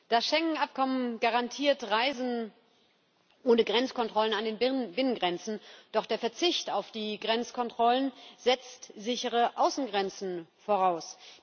Das Schengen-Abkommen garantiert Reisen ohne Grenzkontrollen an den Binnengrenzen, doch der Verzicht auf die Grenzkontrollen setzt sichere Außengrenzen voraus.